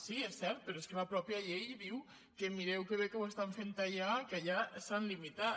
sí és cert però és que la mateixa llei diu que mireu que bé que ho estan fent allà que allà s’han limitat